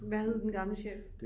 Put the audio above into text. Hvad hed den gamle chef